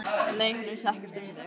Nei, hann vissi ekkert um þig.